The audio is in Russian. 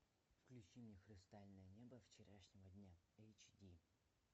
включи мне хрустальное небо вчерашнего дня эйч ди